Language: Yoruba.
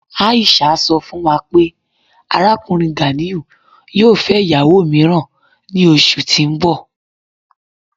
Aisha sọ́ fún wà pé Arákùnrin Ganiu yóò fẹ́ ìyàwó míìràn ní ọṣù tí n bọ̀.